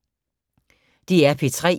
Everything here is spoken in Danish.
DR P3